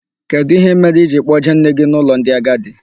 Kedụ ihe mere I jiri kpọjee nne gị n'ụlọ ndị agadi?